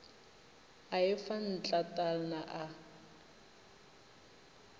a e fa ntlatalna a